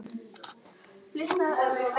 Myndin sýnir far eftir aldin af hlyni.